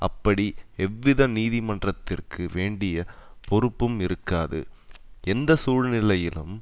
அப்படி எவ்வித நீதிமன்றத்திற்கு வேண்டிய பொறுப்பும் இருக்காது எந்த சூழ்நிலையிலும்